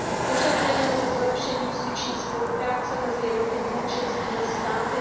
Požadujeme zde zlepšení justiční spolupráce mezi jednotlivými členskými státy.